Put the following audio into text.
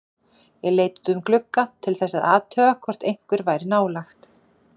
Ég leit út um glugga til þess að athuga hvort einhver væri nálægt.